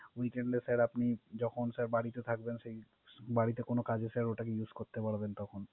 Weekened sir আপনি যখন বাড়িতে থাকবেন। বাড়িতে কোন কাজ থাকলে Use করতে পারবেন আপনি